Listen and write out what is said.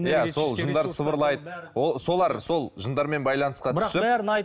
жындар сыбырлайды ол солар сол жындармен байланысқа түсіп бірақ бәрін айт